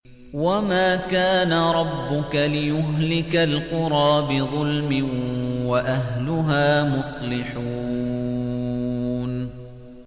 وَمَا كَانَ رَبُّكَ لِيُهْلِكَ الْقُرَىٰ بِظُلْمٍ وَأَهْلُهَا مُصْلِحُونَ